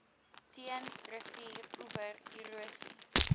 teen rivieroewer erosie